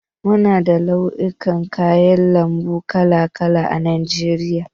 Muna da nau'ikan kayan lambu kala kala a najeriya.